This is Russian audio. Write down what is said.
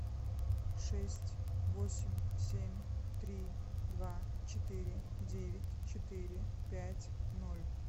шесть восемь семь три два четыре девять четыре пять ноль